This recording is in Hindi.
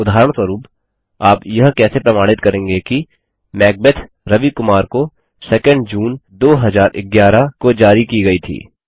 और उदाहरणस्वरूप आप यह कैसे प्रमाणित करेंगे कि मैकबेथ रवि कुमार को 2एनडी जून 2011 को जारी की गया थी